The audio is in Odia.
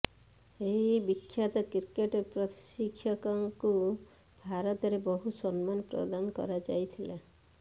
ଏହି ବିଖ୍ୟାତ କ୍ରିକେଟ୍ ପ୍ରଶିକ୍ଷକଙ୍କୁ ଭାରତରେ ବହୁ ସମ୍ମାନ ପ୍ରଦାନ କରାଯାଇଥିଲା